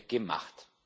gemacht.